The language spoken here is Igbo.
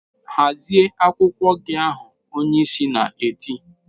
"Hazie akwụkwọ ahụ!" Onyeisi na-eti.